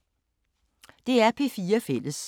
DR P4 Fælles